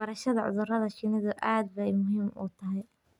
Barashada cudurrada shinnidu aad bay muhiim u tahay.